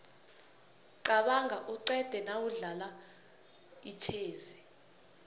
qabanga uqede nawudlala itjhezi